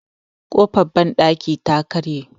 kofar bandaki ta karye